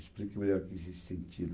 Explique melhor o quer dizer sentido.